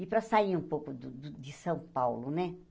E para sair um pouco do do de São Paulo, né?